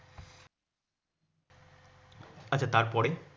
আচ্ছা তারপরে?